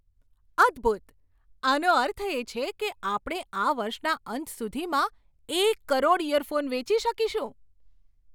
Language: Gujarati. અદ્ભૂત! આનો અર્થ એ છે કે આપણે આ વર્ષના અંત સુધીમાં એક કરોડ ઇયરફોન વેચી શકીશું!